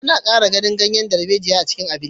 An ƙara garin ganyen darbejiya a cikin abincin jaririn